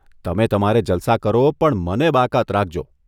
તમે તમારે જલસા કરો, પણ મને બાકાત રાખજો